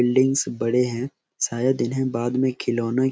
buildings बड़े हैं शायद इन्हें बाद में खिलौने --